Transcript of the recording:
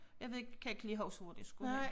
Jeg ved ikke kan ikke lige huske hvor den skulle hen